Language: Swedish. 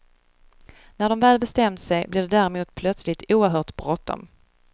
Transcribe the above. När de väl bestämt sig blir det däremot plötsligt oerhört bråttom.